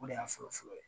O de y'a fɔlɔ-fɔlɔ ye